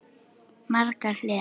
Margar hliðar.